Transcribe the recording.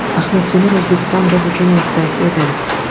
Ahmet Demir: O‘zbekiston biz uchun ertak edi.